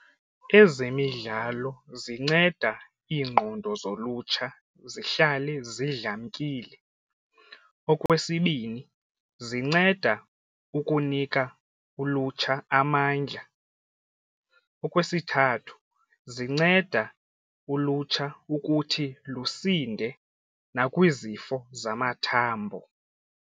Ezemidlalo zinceda ingqondo zolutsha zihlale zidlamkile. Okwesibini, zinceda ukunika ulutsha amandla. Okwesithathu, zinceda ulutsha ukuthi lusinde nakwizifo zamathambo.